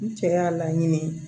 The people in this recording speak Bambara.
N cɛ y'a laɲini